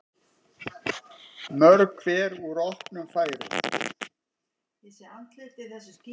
Mörg hver úr opnum færum.